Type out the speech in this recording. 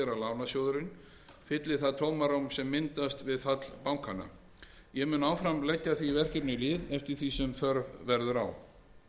lánasjóðurinn fylli það tómarúm sem myndaðist við fall bankanna ég mun áfram leggja því verkefni lið eftir því sem þörf verður á